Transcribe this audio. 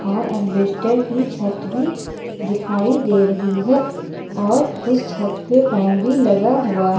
और एल्वेस्टर की छत दिखाई दे रही है और उस छत पे फैन भी लगा हुआ--